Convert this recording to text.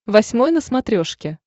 восьмой на смотрешке